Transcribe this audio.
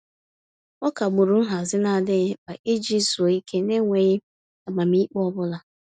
Ọ kagburu nhazị n'adịghị mkpa iji zuo ike n'enweghị amamiikpe ọbụla.